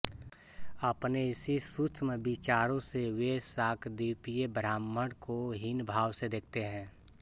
अपने इसी सूक्ष्म विचारों से वे शाकद्वीपीय ब्राह्मण को हीन भाव से देखते हैं